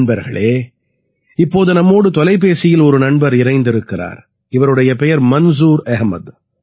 நண்பர்களே இப்போது நம்மோடு தொலைபேசியில் ஒரு நண்பர் இணைந்திருக்கிறார் இவருடைய பெயர் மன்சூர் அஹமது